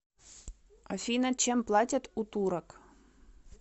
афина чем платят у турок